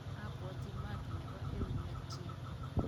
abwoti maat nebo eunek chin